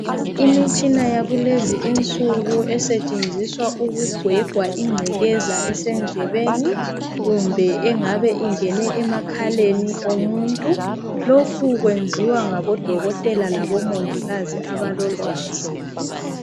Imitshina yakulezi insuku esetshenziswa ukugwegwa ingcekeza esendlebeni, kumbe engabe ingene emakhaleni omuntu. Lokhu kwenziwa ngabodokotela, kumbe omongikazi, abalolwazi.